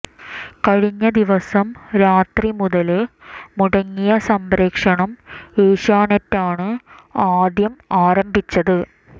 കഴിഞ്ഞ ദിവസം രാത്രി മുതല് മുടങ്ങിയ സംപ്രേഷണം ഏഷ്യാനെറ്റാണ് ആദ്യം ആരംഭിച്ചത്